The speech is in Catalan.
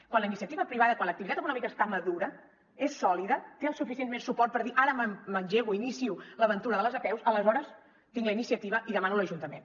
quan l’activitat econòmica està madura és sòlida té el suficient suport per dir ara m’engego inicio l’aventura de les apeus aleshores tinc la iniciativa i ho demano a l’ajuntament